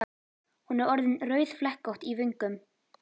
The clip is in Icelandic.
Hún er orðin rauðflekkótt í vöngum.